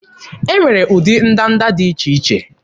E nwere ụdị ndanda dị iche iche